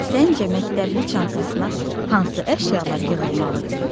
Səncə məktəbli çantasına hansı əşyalar yığılmalıdır?